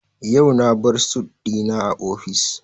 Yau na bar sut dina a office.